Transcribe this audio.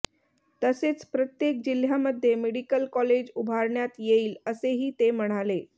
तसेच प्रत्येक जिल्ह्यामध्ये मेडिकल कॉलेज उभारण्यात येईल असेही ते म्हणाले